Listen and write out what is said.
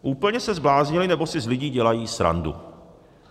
Úplně se zbláznili, nebo si z lidí dělají srandu.